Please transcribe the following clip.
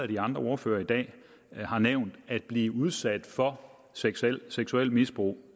de andre ordførere i dag har nævnt at blive udsat for seksuelt seksuelt misbrug